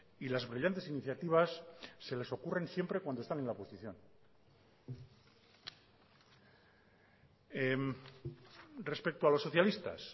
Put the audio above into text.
y las brillantes iniciativas se les ocurren siempre cuando están en la oposición respecto a los socialistas